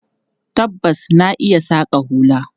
Tabbas, na iya saƙa hula.